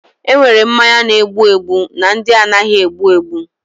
Enwere mmanya na-egbu egbu na ndị anaghị egbu egbu.